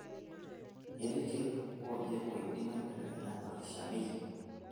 Ketii ikleek ooje oidim aibelekenya olkishamiet .